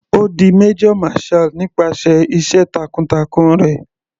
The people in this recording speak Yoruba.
Ó di major marshall nípasẹ̀ iṣẹ́ takun-takun rẹ̀.